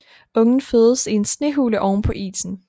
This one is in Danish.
Ungen fødes i en snehule ovenpå isen